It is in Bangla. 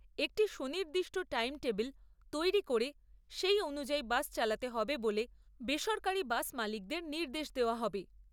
একটি সুনির্দিষ্ট টাইম টেবিল তৈরি করে সেই অনুযায়ী বাস চালাতে হবে বলে বেসরকারি বাস মালিকদের নির্দেশ দেওয়া হবে।